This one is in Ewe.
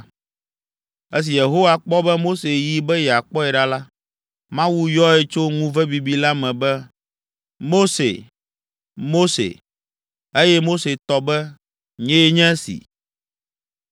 Esi Yehowa kpɔ be Mose yi be yeakpɔe ɖa la, Mawu yɔe tso ŋuve bibi la me be, “Mose, Mose!” Eye Mose tɔ be, “Nye nye esi.”